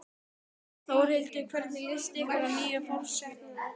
Þórhildur: Hvernig líst ykkur að nýja forsetann okkar?